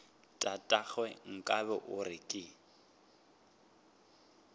tatagwe nkabe o re ke